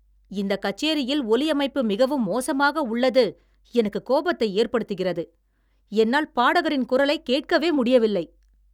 இந்த கச்சேரியில் ஒலி அமைப்பு மிகவும் மோசமாக உள்ளது எனக்கு கோபத்தை ஏற்படுத்துகிறது. என்னால் பாடகரின் குரலைக் கேட்கவே முடியவில்லை.